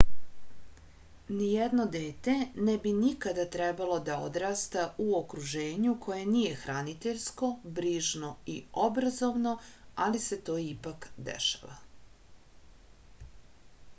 nijedno dete ne bi nikada trebalo da odrasta u okruženju koje nije hraniteljsko brižno i obrazovno ali se to ipak dešava